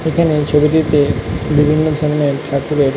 এখানে ছবিটিতে বিভিন্ন ধরণের ঠাকুরের--